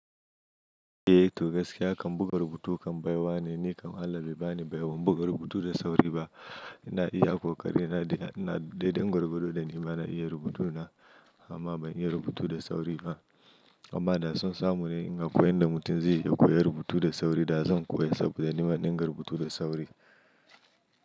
Eh to gaskiya kan buga rubutu kam baiwa ne, ni kam Allah bai bani baiwan buga rubutu da sauri ba. Ina iya kokari na da ina daidai gauraro da ni ma na iya rubutu na amma ban iya rubutu da sauri ba. Amma da sun samu ni in ga koyan da mutum zai iya koya rubutu da sauri da zan koya saboda ni ma zan iya rubutu da sauri.